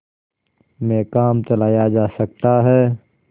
में काम चलाया जा सकता है